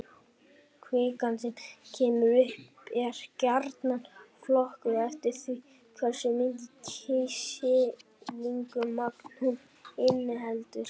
Kvikan sem kemur upp er gjarnan flokkuð eftir því hversu mikið kísilsýrumagn hún inniheldur.